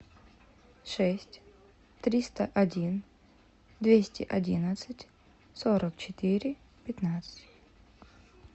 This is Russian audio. шесть триста один двести одиннадцать сорок четыре пятнадцать